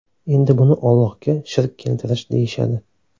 Endi buni Ollohga shirk keltirish deyishadi.